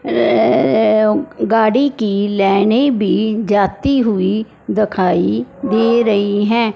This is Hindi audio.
ऐ गाड़ी की लाइने भी जाती हुई दिखाई दे रही है।